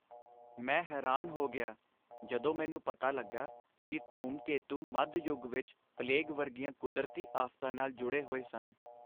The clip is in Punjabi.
ਮੈਂ ਹੈਰਾਨ ਹੋ ਗਿਆ ਜਦੋਂ ਮੈਨੂੰ ਪਤਾ ਲੱਗਾ ਕਿ ਧੂਮਕੇਤੂ ਮੱਧ ਯੁੱਗ ਵਿਚ ਪਲੇਗ ਵਰਗੀਆਂ ਕੁਦਰਤੀ ਆਫ਼ਤਾਂ ਨਾਲ ਜੁੜੇ ਹੋਏ ਸਨ।